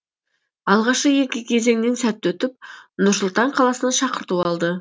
алғашқы екі кезеңнен сәтті өтіп нұр сұлтан қаласына шақырту алды